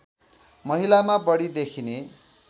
महिलामा बढी देखिने